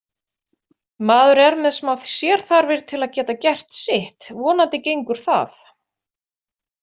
Maður er með smá sérþarfir til að geta gert sitt, vonandi gengur það.